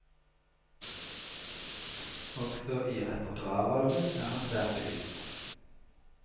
Også i repertoarvalget er han svært bevisst.